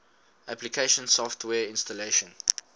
application software installation